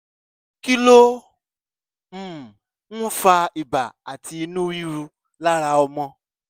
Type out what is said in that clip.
kí ló um ń fa ibà àti inú rírun lára ọmọ?